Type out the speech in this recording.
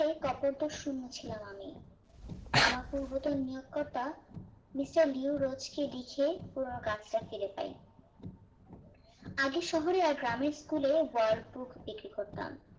শুনেছিলাম আমি আমার পূর্বত নিয়োগকতা মিস্টার লিও রোজ কে লিখে পুরোনো কাজটা ফায়ার পাই আগে শহরে আর গ্রামের school এ world book বিক্রি করতাম